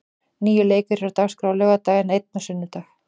Níu leikir eru á dagskrá á laugardag, en einn á sunnudag.